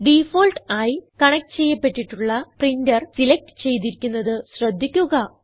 default ആയി connect ചെയ്യപ്പെട്ടിട്ടുള്ള printer select ചെയ്തിരിക്കുന്നത് ശ്രദ്ധിക്കുക